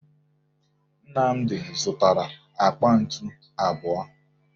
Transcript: Nnamdi zụtara àkpà ntu abụọ